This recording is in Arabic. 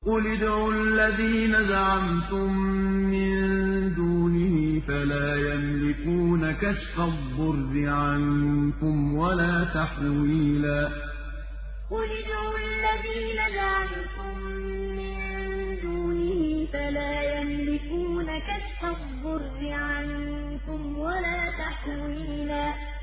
قُلِ ادْعُوا الَّذِينَ زَعَمْتُم مِّن دُونِهِ فَلَا يَمْلِكُونَ كَشْفَ الضُّرِّ عَنكُمْ وَلَا تَحْوِيلًا قُلِ ادْعُوا الَّذِينَ زَعَمْتُم مِّن دُونِهِ فَلَا يَمْلِكُونَ كَشْفَ الضُّرِّ عَنكُمْ وَلَا تَحْوِيلًا